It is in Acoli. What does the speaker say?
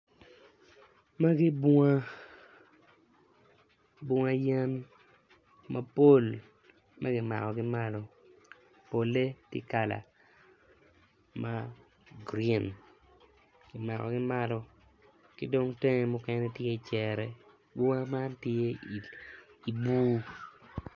Magi bunga bunga yen mapol ma kimako ki malo polle tye kala ma grin kimako ki malo ki dong tenge mukene tye cere bunga man tye ibur.